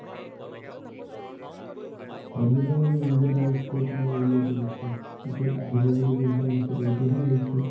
ভাৱিছিলো মানে ইন্দিয়াত আৰু scope নাই বুলি সেইটো বস্তুৰ। পিছত আহিব বুলি গম পোৱা নাছিলো। এতিয়াহে আহিছে।